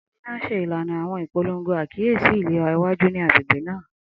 Amina n ṣe ilana awọn ipolongo akiyesi ilera iwaju ni agbegbe naa.